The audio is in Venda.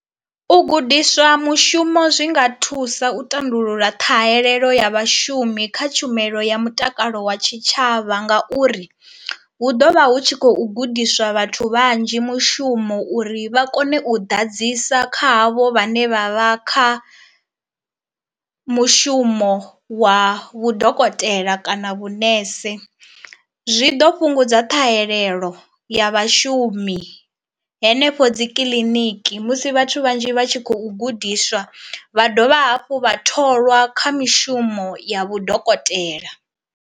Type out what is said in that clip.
U gudiswa mushumo zwi nga thusa u tandulula ṱhahelelo ya vhashumi kha tshumelo ya mutakalo wa tshitshavha ngauri hu ḓo vha hu tshi khou gudiswa vhathu vhanzhi mushumo uri vha kone u ḓadzisa kha havho vhane vha vha kha mushumo wa vhu dokotela kana vhunese. Zwi ḓo fhungudza ṱhahelelo ya vhashumi henefho dzi kiḽiniki musi vhathu vhanzhi vha tshi khou gudiswa vha dovha hafhu vha tholwa kha mishumo ya vhudokotela.